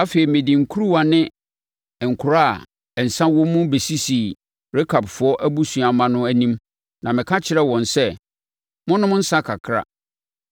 Afei mede nkuruwa ne nkora a nsã wɔ mu bɛsisii Rekabfoɔ abusua mma no anim na meka kyerɛɛ wɔn sɛ, “Monnom nsã kakra.”